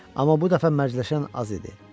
Amma bu dəfə mərcələşən az idi.